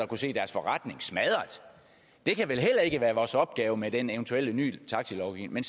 kunne se deres forretning blive smadret det kan vel heller ikke være vores opgave med den eventuelle nye taxilovgivning